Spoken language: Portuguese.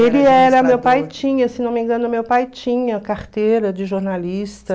Ele era, meu pai tinha, se não me engano, meu pai tinha carteira de jornalista.